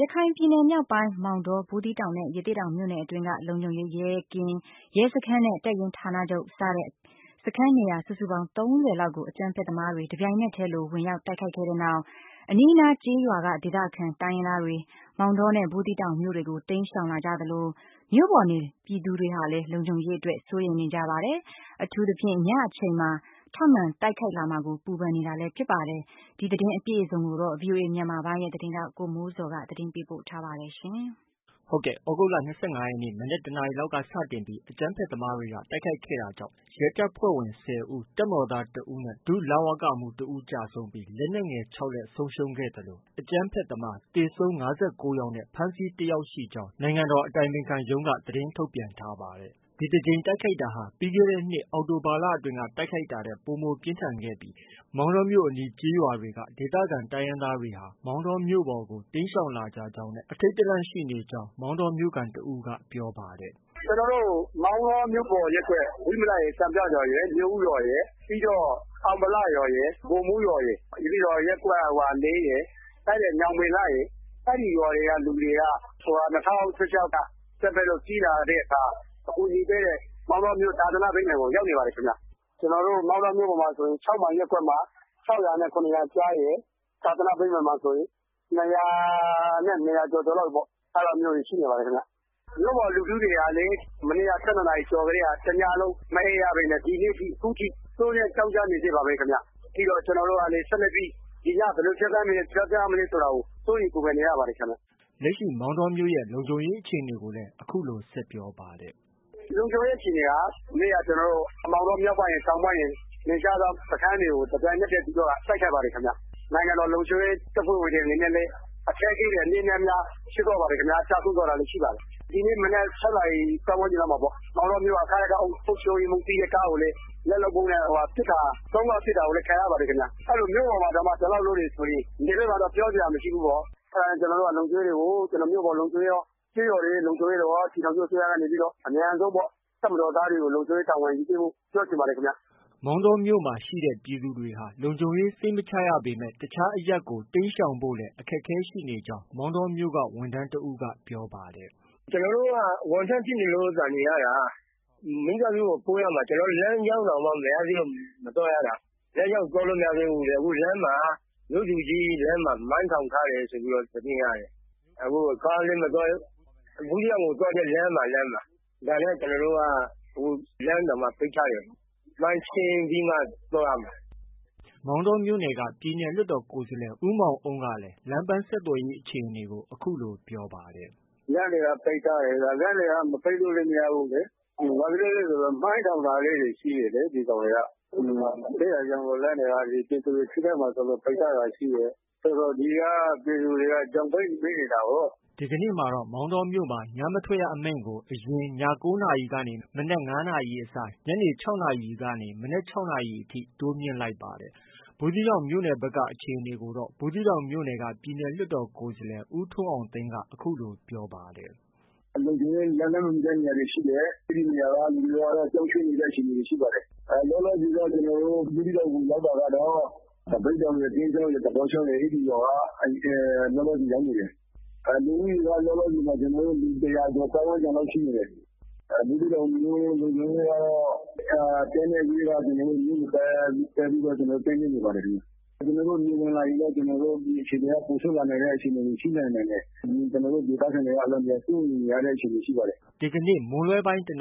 ရခိုင်ပြည်နယ် မြောက်ပိုင်း မောင်တော၊ ဘူးသီးတောင်နဲ့ ရသေ့တောင်မြို့နယ်အတွင်းက လုံခြုံရေးရဲကင်း၊ ရဲစခန်းနဲ့ တပ်ရင်းဌာနချုပ် စတဲ့ စခန်းနေရာစုစုပေါင်း ၃၀လောက်ကို အကြမ်းဖက်သမားတွေက တပြိုင်နက်တည်းလို ဝင်ရောက်တိုက်ခိုက်ခဲ့တဲ့နောက် အနီးအနားကျေးရွာက ဒေသခံတိုင်းရင်းသားတွေ မောင်တောနဲ့ ဘူးသီးတောင်မြို့တွေကို တိမ်းရှောင်လာသလို မြို့ပေါ်နေပြည်သူတွေဟာလည်း လုံခြုံရေးအတွက် စိုးရိမ်နေကြ ပါတယ်။ အထူးသဖြင့် ညအချိန်မှာ ထပ်မံတိုက်ခိုက်လာမှာကို ပူပန်နေတာလည်း ဖြစ်ပါတယ်။ သတင်း အပြည့်အစုံကို ဗွီအိုအေမြန်မာပိုင်းရဲ့သတင်းထောက် ကိုမိုးဇော်က တင်ပြထားပါတယ်။ သြဂုတ်လ ၂၅ရက်နေ့ မနက် ၁နာရီလောက်ကစတင်ပြီး အကြမ်းဖက်သမားတွေက တိုက်ခိုက် ခဲ့တာကြောင့် ရဲတပ်ဖွဲ့ဝင် ၁၀ဦး၊ တပ်မတော်သား၁ဦးနဲ့ ဒုလဝကမှူး၁ဦး ကျဆုံးပြီး လက်နက်ငယ် ၆လက် ဆုံးရှုံးခဲ့သလို အကြမ်းဖက်သမား သေဆုံး၅၉ယောက်နဲ့ ဖမ်းဆီးတယောက်ရှိကြောင်း နိုင်ငံတော်အတိုင်ပင်ခံရုံး က သတင်း ထုတ်ပြန်ထားပါတယ်။ ဒီတကြိမ်တိုက်ခိုက်တာဟာ ပြီးခဲ့တဲ့နှစ် အောက်တိုဘာလအတွင်းက တိုက်ခိုက်တာထက် ပိုမိုပြင်းထန်ခဲ့ပြီး မောင်တောမြို့အနီးကျေးရွာတွေက ဒေသခံတိုင်းရင်းသားတွေဟာ မောင်တောမြို့ပေါ်ကို တိမ်းရှောင်လာကြ ကြောင်းနဲ့ ထိတ်လန့်နေကြကြောင်း မောင်တောမြိ့ခံ တဦးက ပြောပါတယ်။ “ကျနော်တို့ မောင်တောမြို့ပေါ်ရပ်ကွက် ဝိမလရယ်၊ စံပြရွာရယ်၊ မြို့ဦးရွာရယ် ပြီးတော့ အောင်ဗလရွာရယ်၊ ဗိုလ်မှုးရွာရယ်၊ ပြီးတော့ ရပ်ကွက်၄ရယ်၊ ညောင်ပင်လှရယ်၊ အဲဒီရွာတွေက လူတွေက ၂၀၁၆က အကြမ်းဖက်လို့ ပြေးလာရတဲ့အခါ အကူအညီပေးတဲ့ မောင်တောမြို့ သာသန ဗိမ္မာန်ကို ရောက်နေပါတယ်ခင်ဗျ။ ကျနော်တို့ မောင်တောမြို့ပေါ်မှာဆို ၆မိုင် ရပ်ကွက်မှာ ၆ရာနဲ့ ၇ရာကြားရယ်။ သာသနဗိမာန်မှာဆိုရင် ၂ရာနဲ့ ၂ရာကျော်ကျော်လောက်ပေါ့ အဲဒါမျိုးတွေရှိနေပါတယ်။ မြို့ပေါ်လူထုတွေကလည်း မနေ့က ၁၂နာရီကျော်တည်းက တညလုံးမအိပ်ရဘဲနဲ့ ဒီနေ့ထိ ခုထိ စိုးရွံ့ကြောင့် ကျနေဆဲပါပဲ ခင်ဗျ။ ပြီးတော့ ကျနော်တို့ ဒီည ဘယ်လို ဖြတ်သန်းမလဲ ဆိုတာကို စိုးရိမ်ပူပန်နေရပါတယ်ခင်ဗျ။” လက်ရှိလုံခြုံရေးအခြေအနေကိုလည်း အခုလို ဆက်ပြောပါတယ်။ “ လုံခြုံရေးအခြေအနေက မနေ့က မောင်တောမြို့ တောင်ပိုင်းရယ်၊ မြောက်ပိုင်းရယ်က နယ်ခြားစောင့်စခန်း တွေကို တပြိုင်တည်းတိုက်ခိုက်ပါတယ်ဗျ သူတို့က ။ နိုင်ငံတော် လုံခြုံရေး တပ်ဖွဲ့ဝင်တွေအနေနဲ့လည်း အခက်အခဲ အနည်းနဲ့အများ ဖြစ်သွားတာတွေ ရှိခဲ့ပါတယ်။ ကျဆုံးသွားတာလည်း ရှိခဲ့ပါတယ်။ဒီနေ့မနက် ၆နာရီ ပတ်ဝန်းကျင်မှာပေါ့ မောင်တောမြို့က ခယက အုပ်ချုပ်ရေးမှုးစီးတဲ့ကားကိုလည်း လက်လုပ်ဗုံးနဲ့ ၃ခေါက် ပစ်တာကိုလည်း ခံရပါတယ်ခင်ဗျ။ အဲတော့ မြို့ပေါ်မှာတောင်မှ အဲလောက် လုပ်တယ်ဆိုရင် နယ်ဖက်မှာတော့ ပြောစရာမရှိဘူးပေါ့။ အဲဒါကြောင့် ကျနော်တို့က လုံခြုံရေးတွေကို မြို့ပေါ်လုံခြုံရေးကော၊ ကျေးရွာတွေရဲ့လုံခြုံရေးကောပေါ့ ပြည်ထောင်စုအစိုးရက အမြန်ဆုံး တပ်မတော်သားတွေကို လုံခြုံရေးတာဝန်ယူပေးဖို့ ပြောချင်ပါတယ်ခင်ဗျ။” မောင်တောမြို့မှာရှိနေတဲ့ ပြည်သူတွေဟာ လုံခြုံရေးစိတ်မချတာကြောင့် တခြားအရပ်ကို တိမ်းရှောင်ဖို့လည်း အခက်အခဲဖြစ်နေကြောင်း မောင်တောမြို့က ဝန်ထမ်းတဦးက ပြောပါတယ်။ “ ကျနော်တို့က ဝန်ထမ်းဖြစ်နေလို့သာနေရတာ။ မိသားစုကို ပို့ရမှာ ကျနော်တို့ လမ်းကြောင်းတောင်မှ မရသေးလု့ိမသွားတာ။ လမ်းကြောင်းသွားလို့ မရသေးဘူး။ အခု လမ်းမှာ မြို့သူကြီးလမ်းမှာ မိုင်းထောင်ထားတယ်လို့ သတင်းကြားတယ်။ အခုကားလည်းမသွားဘူး။ ဘူးသီးတောင်ကို သွားတဲ့လမ်းမှာ။ ဒါလည်းကျနော်တို့က လမ်းကို ပိတ်ထားတယ်။ မိုင်းရှင်းပြီးမှ သွားရမယ်။ ” မောင်တောမြို့နယ်က ပြည်နယ်လွှတ်တော်ကိုယ်စားလှယ် ဦးမောင်အုန်းကလည်း လမ်းပန်းဆက်သွယ်ရေး အခြေအနေကို အခုလို ပြောပါတယ်။ “လမ်းတွေက ပိတ်ထားတယ်ဗျ။ လမ်းတွေက မပိတ်လို့လည်း မရဘူးလေ။ဘာဖြစ်လို့လည်းဆိုတော့ မိုင်းထောင်တာလေးတွေ ရှိတယ်လေ ဒီကောင်တွေက။ အဲဒါကြောင့်လမ်းတွေက ပြည်သူတွေ ထိခိုက်မှာစိုးလို့ ပိတ်ထားတာရှိတယ်။ ဆိုတော့ ဒီက ပြည်သူတွေက ချောင်ပိတ်မိနေတာကိုး။” ဒီကနေ့မှာတော့ မောင်တောမြို့မှာ ညမထွက်ရအမိန့်ကို အရင် ည ၉နာရီကနေ မနက် ၅နာရီအစား ညနေ ၆နာရီကနေ မနက် ၆နာရီအထိ တိုးမြှင့်လိုက်ပါတယ်။ ဘူးသီးတောင်မြို့နယ်နယ်ဘက်ကအခြေအနေကိုတော့ ဘူးသီးတောင်မြို့နယ်က ပြည်နယ်လွှတ်တော် ကိုယ်စားလှယ် ဦးထွန်းအောင်သိန်းက အခုလို ပြောပါတယ်။ “လုံခြုံရေးလက်လှမ်းမမီတဲ့နေရာတွေရှိတယ်။ အဲဒီနေရာကနေပြီးတော့ ပြောင်းရွှေ့နေတဲ့ အခြေအနေတွေ ရှိပါတယ်။ လောလောဆည် တော့ ကျနော်တို့ ဘူးသီးတောင်ကို ရောက်တာကတော့ သပိတ်တောင်ရယ်၊ ကင်းချောင်းရယ်၊ သပေါ့ချောင်းရယ် အဲဒီရွာက လောလောဆည်ရောက်နေတယ်။ လူဦးရေက တစ်ရာကျော် ပတ်ဝန်းကျင်လောက်ရှိနေတယ်။ ဘူးသီးတောင်မြို့လုံခြုံရေးကတော့ တပ်နဲ့ ရဲက မြို့ကို ပတ်ပြီးတော့ ကင်းလှည်နေပါတယ်ခင်ဗျ။ နေဝင်လာရင်တော့ ပိုဆိုးလာတဲ့ အခြေအနေတွေ ရှိနိုင်ပါတယ်။ ကျနော်တို့ ဒေသခံတွေကလည်း စိုးရိမ်ရတဲ့ အခြေအနေတွေ ရှိနေပါတယ်။ ” မွန်းလွဲ ၁ နာရီတွင်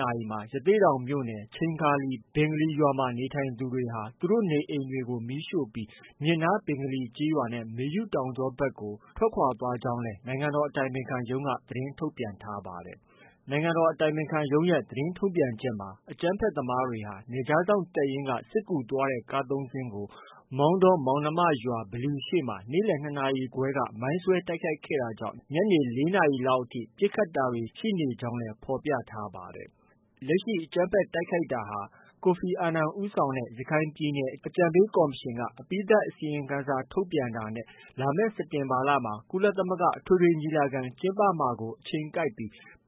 ရသေ့တောင်မြို့နယ် ချိန်ခါလီ ဘင်္ဂလီရွာမှာ နေထိုင်သူတွေက သူတို့နေအိမ်တွေကို မီးရှို့ပြီး မြစ်နားဘင်္ဂလီကျေးရွာနဲ့မေယု တောင်ကြောဘက်သို့ တက်သွားကြောင်းလည်း နိုင်ငံတော် အတိုင်ပင်ခံရုံးက သတင်းထုတ်ပြန်ထားပါတယ်။ နိုင်ငံတော် အတိုင်ပင်ခံရုံးက သတင်းထုတ်ပြန်ချက်မှာ အကြမ်းဖက်သမားတွေဟာ နယ်ခြားစောင့်ရဲ တပ်ရင်းကစစ်ကူသွားတဲ့ ကား ၃ စီးကို မောင်တော မောင်နှမရွာ ဗလီရှေ့မှာ နေ့လည် ၂ နာရီခွဲက မိုင်းဆွဲ တိုက်ခိုက်ခဲ့တာကြောင့် ညနေ ၄နာရီလောက်အထိ ပစ်ခတ်တာတွေ ရှိနေကြောင်း ဖော်ပြထားပါတယ်။ လက်ရှိ အကြမ်းဖက် တိုက်ခိုက်တာဟာ ကိုဖီအာနန်ဦးဆောင်တဲ့ ရခိုင်ပြည်နယ်ဆိုင်ရာ အကြံပေးကော်မရှင်က အပြီးသတ်အစီရင်ခံစာ ထုတ်ပြန်တာနဲ့ လာမယ့် စက်တင်ဘာလမှာ ကုလသမဂ္ဂ အထွေထွေညီလာခံ ကျင်းပမှာ အချိန်ကိုက်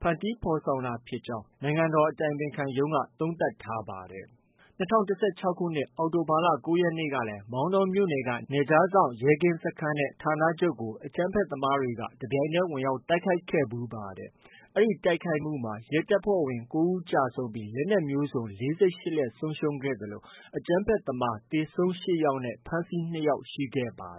ဖန်တီးဖော်ဆောင်တာဖြစ်ကြောင်း သုံးသပ်ထားပါတယ်။ ၂၀၁၆ခုနှစ် အောက်တိုဘာလ ၉ရက်နေ့ကလည်း မောင်တောမြို့နယ်က နယ်ခြားစောင့်ရဲကင်းစခန်းနဲ့ ဌာနချုပ်ကို အကြမ်းဖက်သမားတွေက တပြိုင်တည်းဝင်ရောက်တိုက်ခိုက်ခဲ့ပါတယ်။ ဒီတိုက်ခိုက်မှုမှာ ရဲတပ်ဖွဲ့ဝင် ၉ယောက်ကျဆုံးပြီး လက်နက်မျိုးစုံ ၄၈လက်ဆုံးရှုံးခဲ့သလို အကြမ်းဖက်သမား သေဆုံး၈ယောက်နဲ့ ဖမ်းဆီး၂ယောက်ရှိခဲ့ပါ